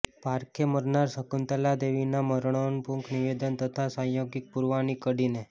પારેખે મરનાર શકુંતલા દેવીના મરણોન્મુખ નિવેદન તથા સાંયોગિક પુરાવાની કડીને